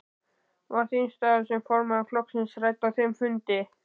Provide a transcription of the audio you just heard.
Var þín staða sem formaður flokksins rædd á þeim fundi?